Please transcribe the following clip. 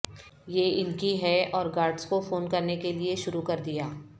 یہ ان کی ہے اور گارڈز کو فون کرنے کے لئے شروع کر دیا